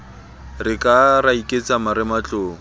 re ka ra iketsa marematlou